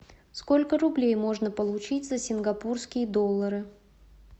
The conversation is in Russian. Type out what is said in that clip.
сколько рублей можно получить за сингапурские доллары